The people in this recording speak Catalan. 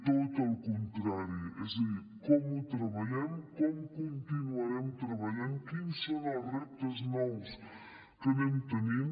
tot el contrari és a dir com ho treballem com continuarem treballant quins són els reptes nous que anem tenint